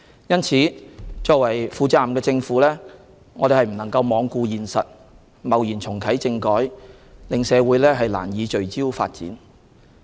因此，作為負責任的政府，我們不能罔顧現實，貿然重啟政改，令社會難以聚焦發展。